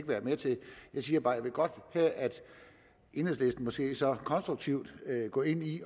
være med til det jeg siger bare at jeg godt vil have at enhedslisten måske så konstruktivt går ind i